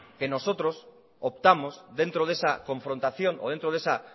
que nosotros optamos dentro de esa confrontación o dentro de esa